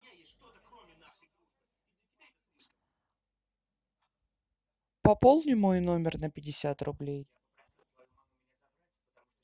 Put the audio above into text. пополни мой номер на пятьдесят рублей